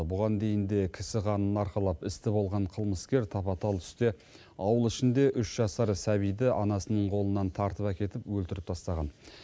бұған дейін де кісі қанын арқалап істі болған қылмыскер тапа тал түсте ауыл ішінде үш жасар сәбиді анасының қолынан тартып әкетіп өлтіріп тастаған